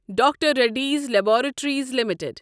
doctor Reddy's Laboratories limited